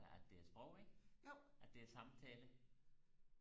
at det er et sprog ikke at det er samtale